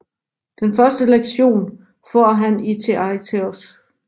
Den første lektion får han i Theaitetos